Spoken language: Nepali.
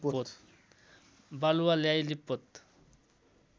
बालुवा ल्याई लिपपोत